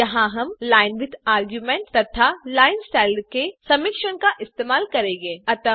यहाँ हम line width argument तथा लाइनस्टाइल के समिश्रण का इस्तेमाल करेंगे